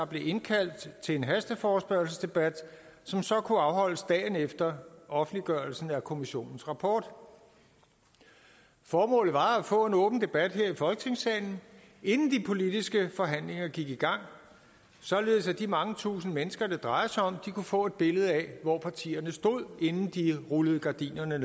blev indkaldt til en hasteforespørgselsdebat som så kunne afholdes dagen efter offentliggørelsen af kommissionens rapport formålet var at få en åben debat her i folketingssalen inden de politiske forhandlinger gik i gang således at de mange tusind mennesker det drejer sig om kunne få et billede af hvor partierne stod inden de rullede gardinerne